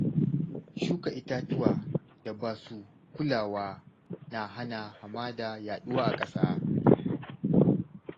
Shuka itatuwa da basu kulawa na hana hamada yaɗuwa a ƙasa.